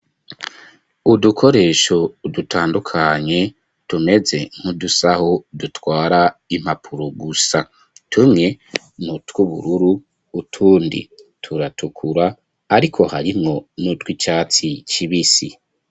Udukoresho dutandukanye tumeze nkudusaho dutwara impapuro gusa .Tumwe nutw'ubururu utundi turatukura ariko harimwo n'utw'icatsi kibisi.